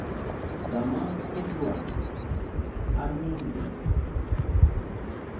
zamaqumrwana anie ngeli